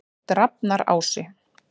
Drafnarási